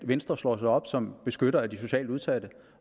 venstre slår sig op som beskytter af de socialt udsatte